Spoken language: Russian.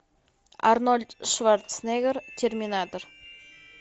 арнольд шварценеггер терминатор